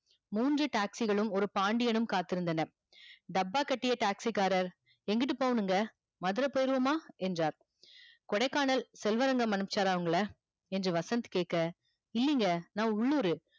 மூன்று taxi களும் ஒரு பாண்டியனும் காத்து இருந்தன டப்பா கட்டிய taxi காரர் எங்கட்டு போகனுமுங் மதுர போயிருவோமா என்றார் கொடைக்கானல் செல்வரங்கம் அமைச்சார உங்கல என்று வசந்த் கேக்க இல்லிங்க நா உள்ளூரு